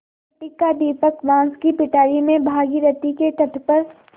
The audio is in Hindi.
मिट्टी का दीपक बाँस की पिटारी में भागीरथी के तट पर